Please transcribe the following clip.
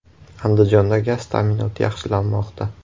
Andijonda gaz ta’minoti yaxshilanmoqda.